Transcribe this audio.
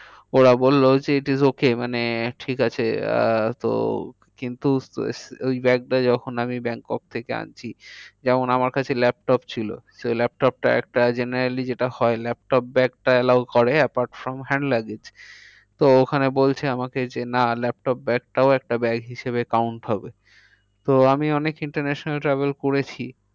Allow করে apart from hand luggage তো ওখানে বলছে আমাকে যে না laptop bag টাও একটা bag হিসাবে count হবে। তো আমি অনেক international travel করেছি।